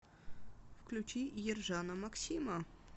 включи ержана максима